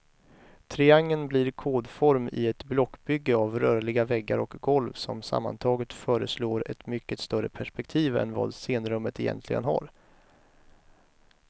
Triangeln blir kodform i ett blockbygge av rörliga väggar och golv, som sammantaget föreslår ett mycket större perspektiv än vad scenrummet egentligen har.